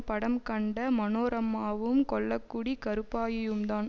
படம் கண்ட மனோரமாவும் கொல்லக்குடி கருப்பாயியும்தான்